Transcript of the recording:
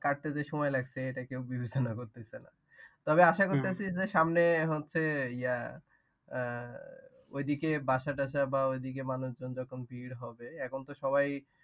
কাটতে যে সময় লাগছে এটা কেও বিবেচনা করতেছে না। তবে আশা করতেছি যে সামনে হচ্ছে ইয়া আহ ওই দিকে বাসা টাসা বা ঐদিকে মানুষজন যখন ভীড় হবে এখন তো সবাই।